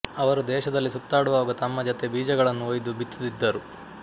ಅವರು ದೇಶದಲ್ಲಿ ಸುತ್ತಾಡುವಾಗ ತಮ್ಮ ಜತೆ ಬೀಜಗಳನ್ನು ಒಯ್ದು ಬಿತ್ತುತ್ತಿದ್ದರು